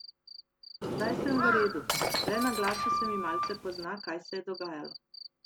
Zdaj sem v redu, le na glasu se mi malce pozna, kaj se je dogajalo.